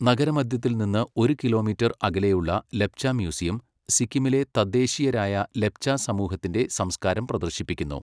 നഗരമധ്യത്തിൽ നിന്ന് ഒരു കിലോമീറ്റർ അകലെയുള്ള ലെപ്ച മ്യൂസിയം, സിക്കിമിലെ തദ്ദേശീയരായ ലെപ്ച സമൂഹത്തിന്റെ സംസ്കാരം പ്രദർശിപ്പിക്കുന്നു.